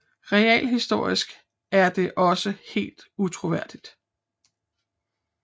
Realhistorisk er det også helt utroværdigt